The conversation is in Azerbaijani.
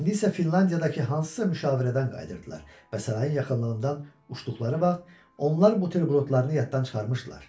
İndi isə Finlandiyadakı hansısa müşavirədən qayıdırdılar və sarayın yaxınlığından uçduqları vaxt onlar buterbrodlarını yaddan çıxarmışdılar.